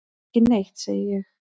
Ekki neitt, segi ég.